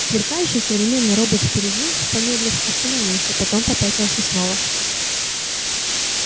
сверкающий современный робот впереди помедлив остановился потом попятился снова